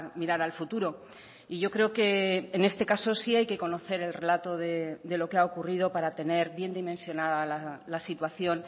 mirar al futuro y yo creo que en este caso sí hay que conocer el relato de lo que ha ocurrido para tener bien dimensionada la situación